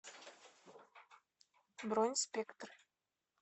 бронь спектр